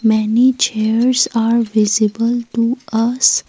many chairs are visible to us.